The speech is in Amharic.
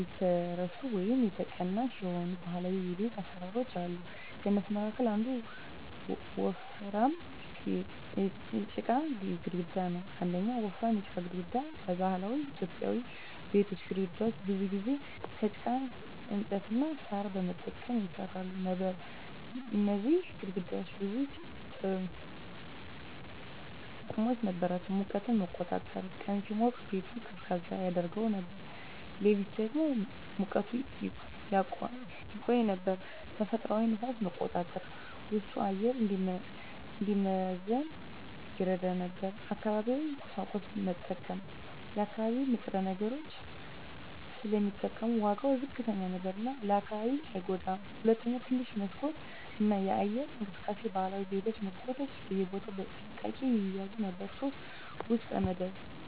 የተረሱ ወይም ተቀናሽ የሆኑ ባህላዊ የቤት አሰራሮች አሉ። ከእነሱ መካከል አንዱ ወፍራም የጭቃ ግድግዳ ነው። 1. ወፍራም የጭቃ ግድግዳ በባህላዊ ኢትዮጵያዊ ቤቶች ግድግዳዎች ብዙ ጊዜ ከጭቃ፣ እንጨት እና ሣር በመጠቀም ይሰሩ ነበር። እነዚህ ግድግዳዎች ብዙ ጥቅሞች ነበራቸው፦ ሙቀትን መቆጣጠር – ቀን ሲሞቅ ቤቱን ቀዝቃዛ ያደርገው ነበር፣ ሌሊት ደግሞ ሙቀቱን ያቆይ ነበር። ተፈጥሯዊ ንፋስ መቆጣጠር – ውስጡ አየር እንዲመዘን ይረዳ ነበር። አካባቢያዊ ቁሳቁስ መጠቀም – የአካባቢ ንጥረ ነገሮች ስለሚጠቀሙ ዋጋው ዝቅተኛ ነበር እና ለአካባቢው አይጎዳም። 2. ትንሽ መስኮት እና የአየር እንቅስቃሴ ባህላዊ ቤቶች መስኮቶችን በቦታ በጥንቃቄ ይያዙ ነበር። 3. የውስጥ መደብ